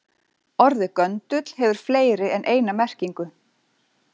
Orðið göndull hefur fleiri en eina merkingu.